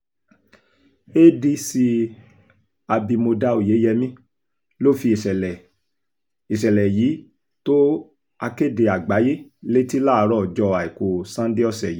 adc abimodá oyeyèmí ló fi ìṣẹ̀lẹ̀ ìṣẹ̀lẹ̀ yìí tó akéde àgbáyé létí láàárọ̀ ọjọ́ àìkú sannde ọ̀sẹ̀ yìí